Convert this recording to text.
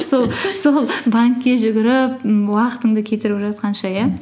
сол банкке жүгіріп м уақытыңды кетіріп жатқанша иә